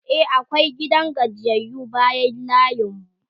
e akwai gidan gajiyayyu bayan layin mu